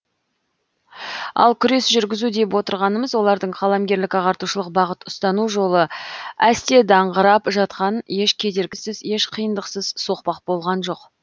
ал күрес жүргізу деп отырғанымыз олардың қаламгерлік ағартушылық бағыт ұстану жолы әсте даңғырап жатқан еш кедергісіз еш қиындықсыз соқпақ болған жоқ